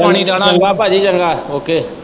ਚੰਗਾ ਭਾਜੀ ਚੰਗਾ ok